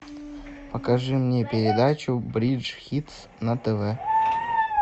покажи мне передачу бридж хитс на тв